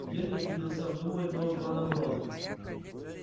генри принялся обдумывать новый план обороны